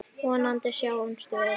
Vonandi sjáumst við.